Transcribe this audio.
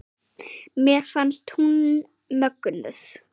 Mér fannst hún mögnuð.